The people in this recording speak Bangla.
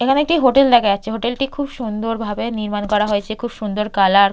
এখানে একটি হোটেল দেখা যাচ্ছে হোটেল টি খুব সুন্দরভাবে নির্মাণ করা হয়েছে খুব সুন্দর কালার ।